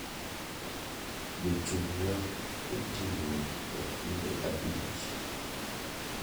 Jochung' wa otingo okinde abich.